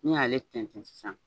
N'i y'ale fɛnsɛn sisan.